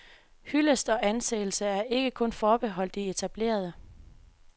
Hyldest og anseelse er ikke kun er forbeholdt de etablerede.